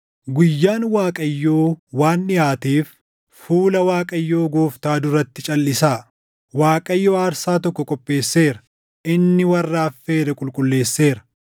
Guyyaan Waaqayyoo waan dhiʼaateef fuula Waaqayyoo Gooftaa duratti calʼisaa. Waaqayyo aarsaa tokko qopheesseera; inni warra affeere qulqulleesseera.